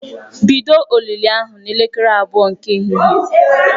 Bido olili ahụ n'elekere abụọ nke ehihie!